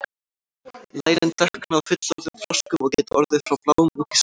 lærin dökkna á fullorðnum froskum og geta orðið frá bláum út í svart